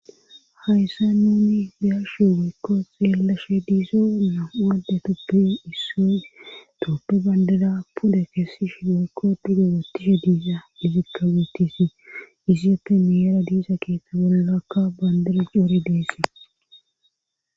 hayssa nuni biyarsho wiykko xeellashe diizoona wadde tuppe isso tooppe bandada puda keessi shi doykko dudo wottishe diiza lifikka weetisii iziyeppe niera diiza keeththa bollakka bandire coore deessee